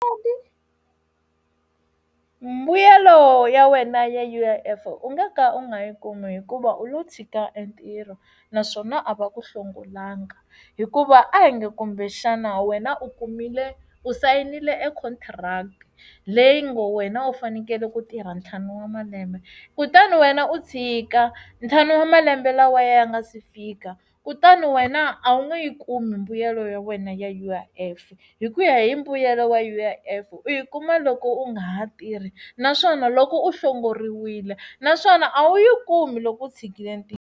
Mbuyelo ya wena ya U_I_F u nga ka u nga yi kumi hikuva u lo tshika entirho naswona a va ku hlongolanga hikuva a hi nge kumbe xana wena u kumile u sayinile econtract leyi ngo wena u fanekele ku tirha ntlhanu wa malembe kutani wena u tshika ntlhanu wa malembe lawa ya nga si fika kutani wena a wu nge yi kumi mbuyelo ya wena ya U_I_F hi ku ya hi mbuyelo wa U_I_F u yi kuma loko u nga ha tirhi naswona loko u hlongoriwile naswona a wu yi kumi loko u tshikile ntirho.